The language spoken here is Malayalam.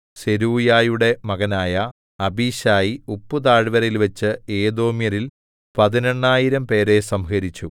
സെരൂയയുടെ മകനായ അബീശായി ഉപ്പുതാഴ്വരയിൽവച്ച് ഏദോമ്യരിൽ പതിനെണ്ണായിരംപേരെ സംഹരിച്ചു